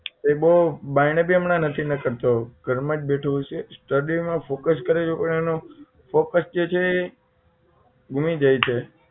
એ બહુ બાયણે પણ હમણાં બહુ નથી નીકળતો ઘરમાં જ બેઠો હોય છે study માં focus કરે છે પણ એનું focus જે છે ઘૂમી જાય છે